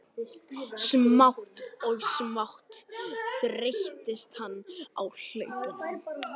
Smátt og smátt þreyttist hann á hlaupunum.